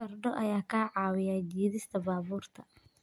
Fardo ayaa ka caawiya jiidista baabuurta.